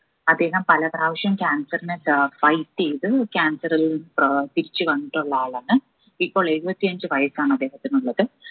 അദ്ദേഹം പല പ്രാവശ്യം cancer നെ ഏർ fight ചെയ്ത് cancer ഏർ തിരിച്ചു വന്നിട്ടുള്ള ആളാണ് ഇപ്പോൾ എഴുപത്തി അഞ്ച്‌ വയസ്സാണ് അദ്ദേഹത്തിനുള്ളത്.